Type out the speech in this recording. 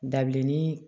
Dabilennin